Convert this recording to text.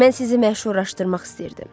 Mən sizi məşhurlaşdırmaq istəyirdim.